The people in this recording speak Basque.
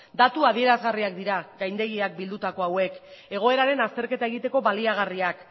datu adierazgarriak dira gaindegiak bildutako hauek egoeraren azterketa egiteko baliagarriak